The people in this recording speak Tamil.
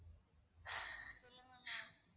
சொல்லுங்க ma'am